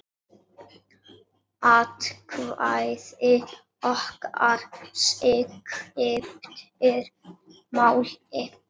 Atkvæði okkar skiptir máli.